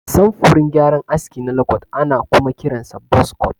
Samfurin gyaran aski na lokot ana kuma kiransa buz kot.